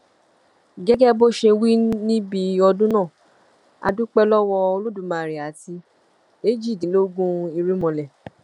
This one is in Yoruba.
gẹgẹ bó ṣe wí níbi ọdún náà a dúpẹ lọwọ olódùmarè àti èjìdínlógún irúnmọlẹ